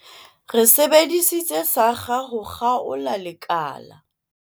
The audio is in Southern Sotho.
re sebedisitse sakga ho kgaola lekala